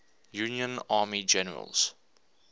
union army generals